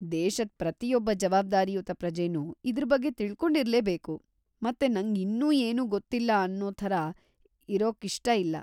ದೇಶದ್ ಪ್ರತಿಯೊಬ್ಬ ಜವಾಬ್ದಾರಿಯುತ ಪ್ರಜೆನೂ ಇದ್ರ್ ಬಗ್ಗೆ ತಿಳ್ಕೊಂಡಿರ್ಲೇ ಬೇಕು, ಮತ್ತೆ ನಂಗೆ ಇನ್ನೂ ಏನೂ ಗೊತ್ತಿಲ್ಲ ಅನ್ನೋ ಥರ ಇರೋಕ್ಕಿಷ್ಟ ಇಲ್ಲ.